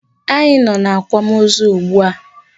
Anyị nọ n'akwamozu ugbua.